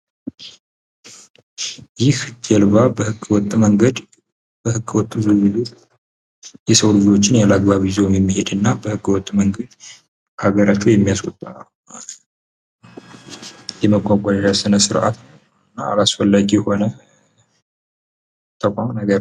ይህ ጀልባ በህገወጥ መንገድ በህገውጥ ይዞ ሊሄድ የሰው ልጆችን ያለ አግባብ ይዞ የሚሄድና ያለ አግባብ ካገራቸው የሚያስወጣ የመጓጓዣ ስነስራት ነው። እና ያላስፈላጊ የሆነ ተቋም ነገር ነው።